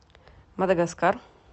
мадагаскар